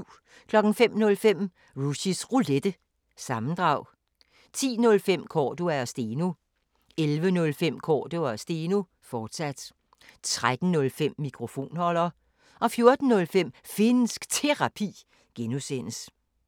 05:05: Rushys Roulette – sammendrag 10:05: Cordua & Steno 11:05: Cordua & Steno, fortsat 13:05: Mikrofonholder 14:05: Finnsk Terapi (G)